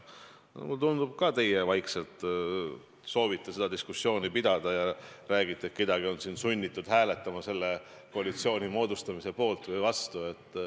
Mulle tundub, et ka teie soovite vaikselt seda diskussiooni pidada, kui te räägite, et kedagi on sunnitud hääletama selle koalitsiooni moodustamise poolt või vastu.